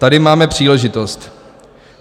Tady máme příležitost.